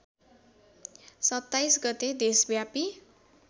२७ गते देशव्यापी